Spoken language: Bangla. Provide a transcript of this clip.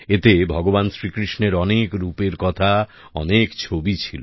এতে ভগবান শ্রীকৃষ্ণের অনেক রূপের কথা অনেক ছবি ছিল